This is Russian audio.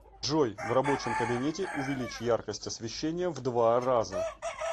джой в рабочем кабинете увеличь яркость освещения в два раза